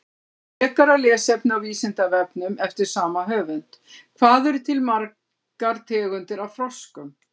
Frekara lesefni á Vísindavefnum eftir sama höfund: Hvað eru til margar tegundir af froskum?